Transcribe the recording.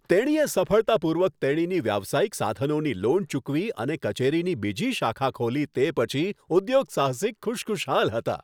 તેણીએ સફળતાપૂર્વક તેણીની વ્યવસાયિક સાધનોની લોન ચૂકવી અને કચેરીની બીજી શાખા ખોલી તે પછી ઉદ્યોગસાહસિક ખુશખુશાલ હતાં.